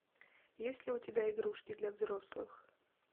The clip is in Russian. есть ли у тебя игрушки для взрослых